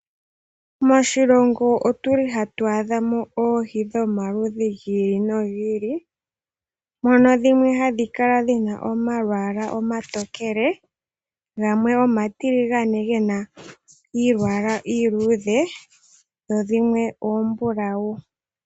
Moshilongo otuli hatu adhamo oohi dhomaludhi gi ili nogi ili mono dhimwe hadhi kala dhina omalwaala omatokele gamwe omatiligane gena omalwaala omaluudhe dho dhimwe oombulawu.